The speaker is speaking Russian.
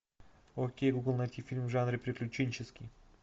окей гугл найти фильм в жанре приключенческий